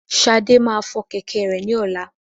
Ṣadé máa fọ kẹ̀kẹ́ rẹ ní ọlá.